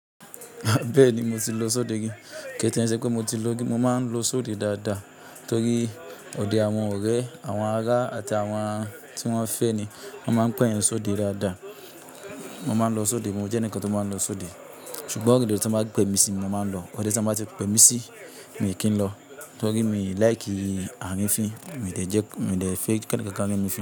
Bẹ́ẹ̀ni mo ti lo ṣọ́dẹ ri, kí tiè n ṣe pé mo ti lo rí, mo máa ń lo ṣọ́dẹ dáadáa torí òde àwọn ọ̀rẹ́, àwọn ará àti àwọn tí wọ́n ń fẹ́ ni wọ́n máa ń pè yín ṣọ́dẹ dáadáa. Mo máa ń lo ṣọ́dẹ, mo jẹ́ ẹnìkan tó máa ń lo ṣọ́dẹ. Ṣùgbọ́n ode tí wọ́n bá pè mí sí ni mo máa ń lo, òde tí wọ́n bá ti pè mí sí mi kìn lọ torí mi like àrinfín. Mi de jẹ́, mi ò lè fẹ́ kí ẹnìkan ká mí ní.